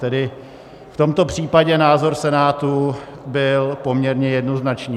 Tedy v tomto případě názor Senátu byl poměrně jednoznačný.